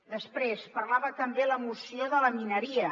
després parlava també la moció de la mineria